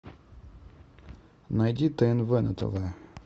найди тнв на тв